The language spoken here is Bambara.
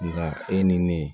Nka e ni ne